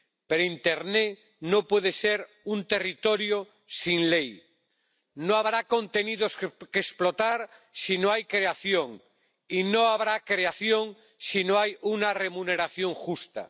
Pero internet no puede ser un territorio sin ley. No habrá contenidos que explotar si no hay creación y no habrá creación si no hay una remuneración justa.